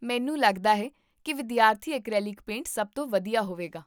ਮੈਨੂੰ ਲੱਗਦਾ ਹੈ ਕਿ ਵਿਦਿਆਰਥੀ ਐਕਰੀਲਿਕ ਪੇਂਟ ਸਭ ਤੋਂ ਵਧੀਆ ਹੋਵੇਗਾ